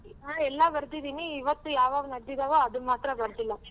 ಹಾ ಎಲ್ಲ ಬರ್ದಿದಿನಿ ಇವತ್ತು ಯಾವ್ಯಾವ್ ನಡ್ದಿದವೋ ಅದನ್ ಮಾತ್ರ ಬರ್ದಿಲ್ಲ.